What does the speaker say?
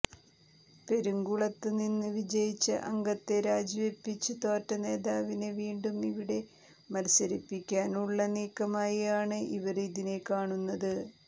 പെരുംകുളത്ത് നിന്ന് വിജയിച്ച അംഗത്തെ രാജിവെപ്പിച്ച് തോറ്റ നേതാവിനെ വീണ്ടും ഇവിടെ മത്സരിപ്പിക്കാനുള്ള നീക്കമായി ആണ് ഇവര് ഇതിനെ കാണുന്നത്